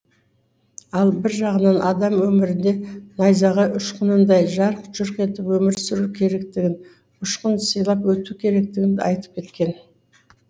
ал бір жағынан адам өмірде найзағай ұшқынындай жарқ жұрқ етіп өмір сүру керектігін ұшқын сыйлап өту керектігін айтып кеткен